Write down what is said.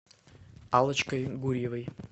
аллочкой гурьевой